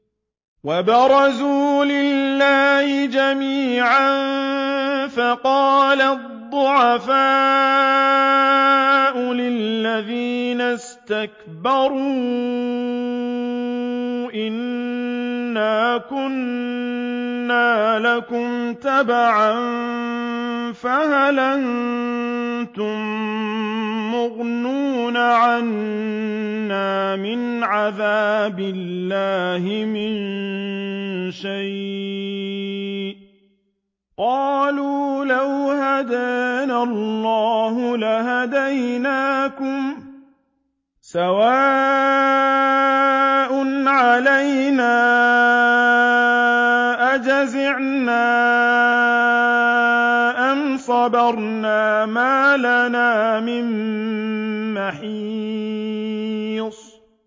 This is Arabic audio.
وَبَرَزُوا لِلَّهِ جَمِيعًا فَقَالَ الضُّعَفَاءُ لِلَّذِينَ اسْتَكْبَرُوا إِنَّا كُنَّا لَكُمْ تَبَعًا فَهَلْ أَنتُم مُّغْنُونَ عَنَّا مِنْ عَذَابِ اللَّهِ مِن شَيْءٍ ۚ قَالُوا لَوْ هَدَانَا اللَّهُ لَهَدَيْنَاكُمْ ۖ سَوَاءٌ عَلَيْنَا أَجَزِعْنَا أَمْ صَبَرْنَا مَا لَنَا مِن مَّحِيصٍ